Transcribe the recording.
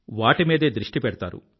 వాటి మీదే దృష్టి పెడతారు